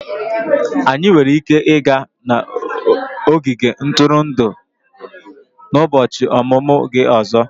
Anyị nwere ike ịga n'ogige ntụrụndụ n'ụbọchị ọmụmụ gị ọzọ.